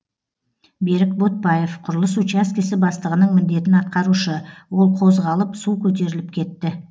берік ботпаев құрылыс учаскесі бастығының міндетін атқарушы ол қозғалып су көтеріліп кетті